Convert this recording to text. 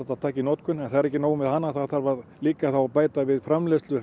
taka í notkun en það er ekki nóg með hana það þarf líka að bæta við framleiðsluna